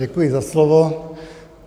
Děkuji za slovo.